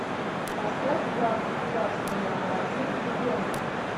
поставь враг государства номер один легенда